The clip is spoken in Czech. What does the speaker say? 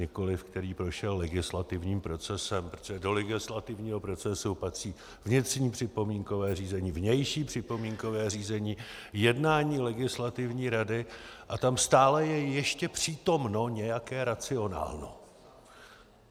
Nikoliv který prošel legislativním procesem, protože do legislativního procesu patří vnitřní připomínkové řízení, vnější připomínkové řízení, jednání legislativní rady a tam stále je ještě přítomno nějaké racionálno.